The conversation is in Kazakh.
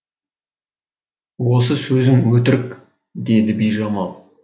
осы сөзің өтірік деді бижамал